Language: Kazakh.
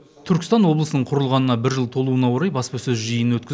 түркістан облысының құрылғанына бір жыл толуына орай баспасөз жиынын өткізіп